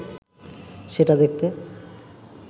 সেটা দেখতে